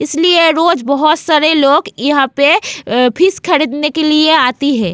इसलिये रोज़ बहुत सारे यहाँ पे अ फिश खरीदने के लिए आती है।